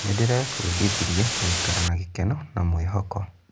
Ndĩrebundithirie gũikara na gĩkeno na mwĩhoko.